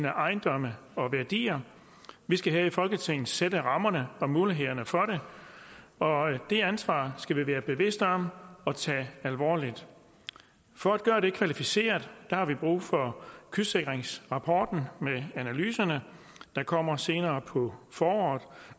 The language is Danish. ejendom og værdier vi skal her i folketinget sætte rammerne og skabe mulighederne for det og det ansvar skal vi være bevidste om at tage alvorligt for at gøre det kvalificeret har vi brug for kystsikringsrapporten med analyserne der kommer senere på foråret